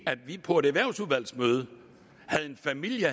at vi på et erhvervsudvalgsmøde havde en familie